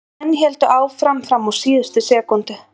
Menn héldu áfram fram á síðustu sekúndu.